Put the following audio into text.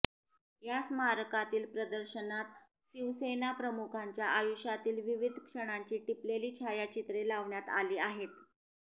या स्मारकातील प्रदर्शनात शिवसेनाप्रमुखांच्या आयुष्यातील विविध क्षणांची टिपलेली छायाचित्रे लावण्यात आली आहेत